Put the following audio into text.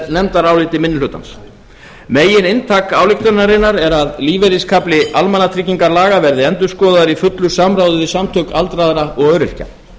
nefndaráliti minni hlutans megininntak ályktunarinnar er að lífeyriskafli almannatryggingalaga verði endurskoðaður í fullu samráði við samtök aldraðra og öryrkja